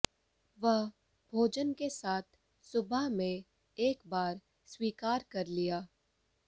वह भोजन के साथ सुबह में एक बार स्वीकार कर लिया